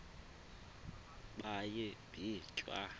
baye bee tyaa